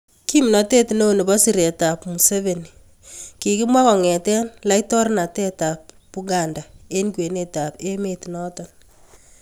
Kimnatet neo nebo siret ab Museveni kikimwa kongete laitornatet ab Buganda eng kwenet ab emet noto